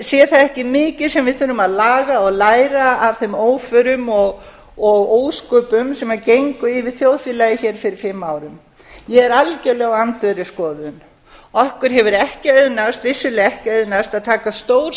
sé það ekki mikið sem við þurfum að laga og læra af þeim óförum og ósköpum sem gengu yfir þjóðfélagið hér fyrir fimm árum ég er algjörlega á öndverðri skoðun okkur hefur vissulega ekki auðnast að taka stór